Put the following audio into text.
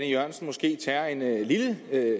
e jørgensen måske tager en lille